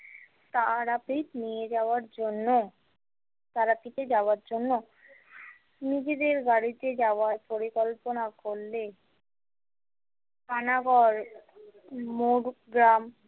তারাপীঠ নিয়ে যাওয়ার জন্য তারাপীঠে যাওয়ার জন্য নিজেদের বাড়িতে যাওয়ার পরিকল্পনা করলে পানাগড় মোড় গ্রাম।